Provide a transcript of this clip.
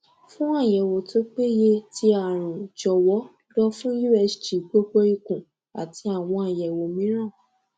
fun ayẹwo to peye ti arun jọwọ lọ fun usg gbogbo ikun ati awọn ayẹwo miiran